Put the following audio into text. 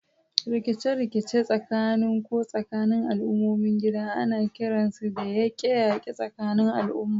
Rikice-rikice tsakanin ko tsakanin al'ummomin gida ana kiransu da yaƙe-yaƙe tsakanin al'umma.